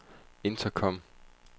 intercom